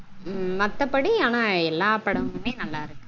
மத்தப்படி ஆனா எல்லா படமுமே நல்லா இருக்கு